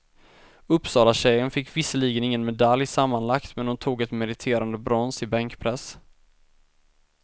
Uppsalatjejen fick visserligen ingen medalj sammanlagt, men hon tog ett meriterande brons i bänkpress.